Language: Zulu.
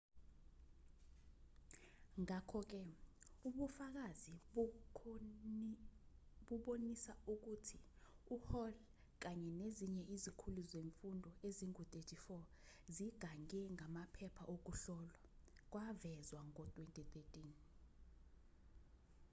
ngakho-ke ubufakazi bubonisa ukuthi uhall kanye nezinye izikhulu zemfundo ezingu-34 zigange ngamaphepha okuhlolwa kwavezwa ngo-2013